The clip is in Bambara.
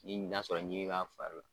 Ni n'a sɔrɔ ɲimi b'a fari la.